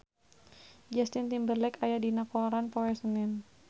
Justin Timberlake aya dina koran poe Senen